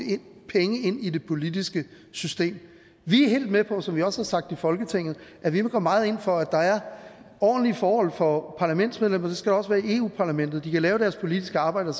penge ind i det politiske system vi er helt med på som vi også har sagt i folketinget at vi vil gå meget ind for at der er ordentlige forhold for parlamentsmedlemmer det skal der også være i europa parlamentet så de kan lave deres politiske arbejde